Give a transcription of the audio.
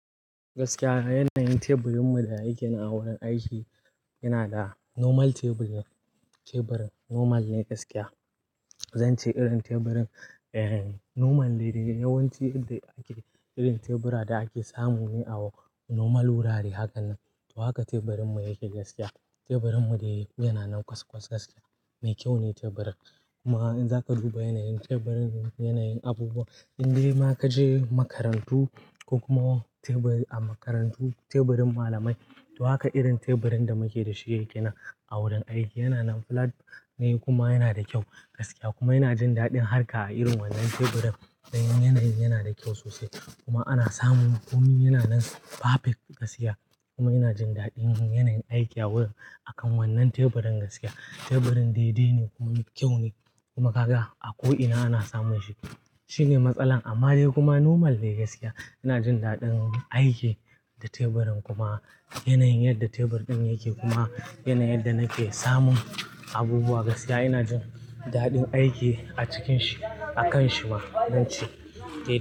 Gaskiya, yanayin teburinmu da yake a wurin aiki, yana da normal tebur ne, teburin normal ne gaskiya. Zance irin teburin, eh normal ne de, yawanci yadda ake irin tebura da ake samu ne a normal wurare hakan nan. To haka teburinmu yake gaskiya. Teburinmu dai yana nan ƙwas-ƙwask gaskiya, mai kyau ne teburin. Kuma in za ka duba yanayin teburin, yanayin abubuwan, indema kaje makarantu, ko kuma tebur a makarantu, teburin malamai, to haka irin teburin da muke da shi yake nan a wurin aiki. Yana nan flat ne, kuma yana da kyau gaskiya, kuma yana jin daɗin harka a irin wannan teburin. Dan yanayi yana da kyau sosai, kuma ana samun komi yana nan perfect gaskiya, kuma yana jin daɗin yanayin aiki a wurin, akan wannan teburin gaskiya. Teburin daidai ne kuma me kyau ne, kuma kaga a ko ina ana samun shi. Shine matsalan, amma dai kuma normal ne gaskiya. Yana jin daɗin aiki da teburin kuma yanayin yadda tebur ɗin yake kuma yana yadda nake samun abubuwa gaskiya. Ina jin daɗin aiki a cikin shi, a kan shi ma zance, eh.